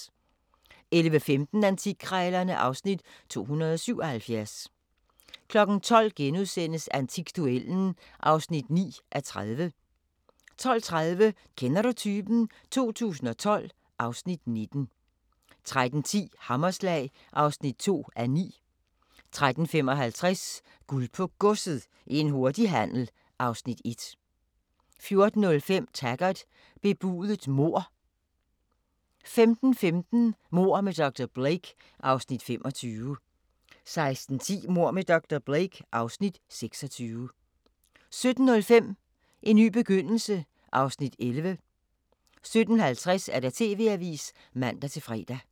11:15: Antikkrejlerne (Afs. 277) 12:00: Antikduellen (9:30)* 12:30: Kender du typen? 2012 (Afs. 19) 13:10: Hammerslag (2:9) 13:55: Guld på Godset - en hurtig handel (Afs. 1) 14:05: Taggart: Bebudet mord 15:15: Mord med dr. Blake (Afs. 25) 16:10: Mord med dr. Blake (Afs. 26) 17:05: En ny begyndelse (Afs. 11) 17:50: TV-avisen (man-fre)